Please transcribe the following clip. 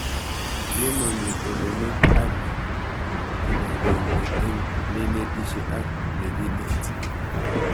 Ye mami tononet ak kipag'eng'e eng'neinetishe ak nekineti